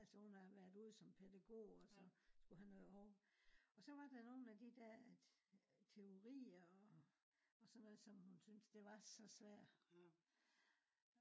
altså hun har været ude som pædegog også skulle have noget. Også var der nogle af de der teorier og sådan noget som hun synes det var så svær